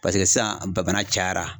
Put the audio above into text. Paseke sisan ba bana cayara.